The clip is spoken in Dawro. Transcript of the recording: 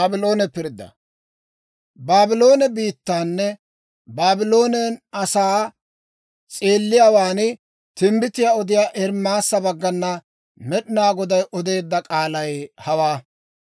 Baabloone biittaanne Baabloone asaa s'eelliyaawaan timbbitiyaa odiyaa Ermaasa baggana Med'inaa Goday odeedda k'aalay hawaa: